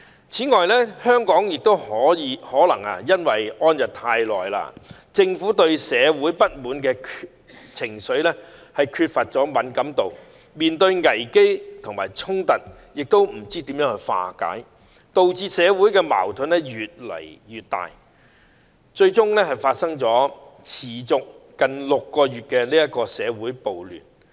此外，香港亦可能處於安逸一段長時間，政府對社會不滿的情緒缺乏敏感度，不知怎樣化解所面對的危機和衝突，導致社會矛盾越來越大，最終發生持續近6個月的社會暴亂。